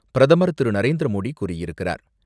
பிரதமர் திரு. நரேந்திர மோடி கூறியிருக்கிறார்.